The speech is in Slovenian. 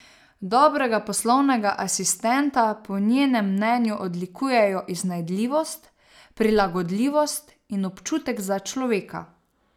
Dobrega poslovnega asistenta po njenem mnenju odlikujejo iznajdljivost, prilagodljivost in občutek za človeka.